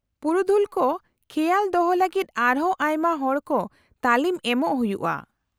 -ᱯᱩᱨᱩᱫᱷᱩᱞ ᱠᱚ ᱠᱷᱮᱣᱟᱞ ᱫᱚᱦᱚ ᱞᱟᱹᱜᱤᱫ ᱟᱨᱦᱚᱸ ᱟᱭᱢᱟ ᱦᱚᱲ ᱠᱚ ᱛᱟᱹᱞᱤᱢ ᱮᱢᱚᱜ ᱦᱩᱭᱩᱜᱼᱟ ᱾